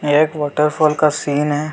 यह एक waterfall scene है।